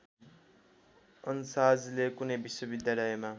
अन्साजले कुनै विश्वविद्यालयमा